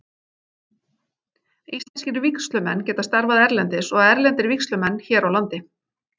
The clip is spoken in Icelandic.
Íslenskir vígslumenn geta starfað erlendis og erlendir vígslumenn hér á landi.